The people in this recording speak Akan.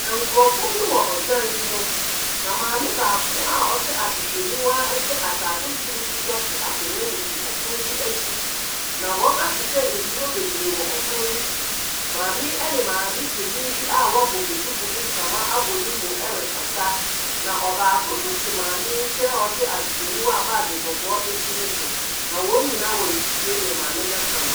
Nkorɔfoɔ bi wɔ ɔdan bi mu na maame baako a ɔhyɛ ahwehwɛniwa ɛhyɛ ataade soro fitaa te akonwa mu te ɔpono bi akyi. Na wɔn ahyehyɛ nnuro bebree wɔ ɔpono yi so. Maame yi ɛne maame panyin bi a wabɔ duku de ntama abɔ ne mu ɛrekasa. Na baako nso te maame yi nkyɛn a ɔhyɛ ahwehwɛniwa a bag kɔkɔɔ esi ne so. na wɔn nyinaa ɔretie nea maame no reka no.